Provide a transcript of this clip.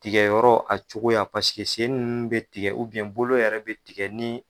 Tigɛyɔrɔ a cogo yan sen ninnu bɛ tigɛ bolo yɛrɛ bɛ tigɛ ni